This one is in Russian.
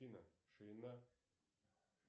афина ширина